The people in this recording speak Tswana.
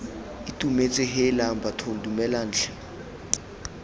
itumetse heelang bathong dumelang tlhe